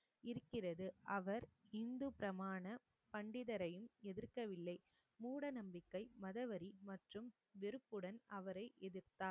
இருக்கிறது அவர் இந்து பிராமண பண்டிதரையும் எதிர்க்கவில்லை மூடநம்பிக்கை மதவெறி மற்றும் வெறுப்புடன் அவரை எதிர்த்தார்